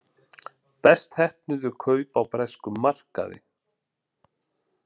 Best heppnuðu kaup á breskum markaði